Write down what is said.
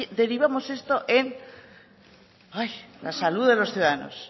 derivamos esto en la salud de los ciudadanos